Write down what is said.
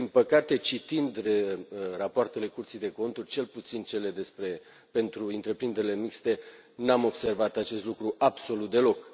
Din păcate, citind rapoartele Curții de Conturi, cel puțin cele pentru întreprinderile mixte, nu am observat acest lucru absolut deloc.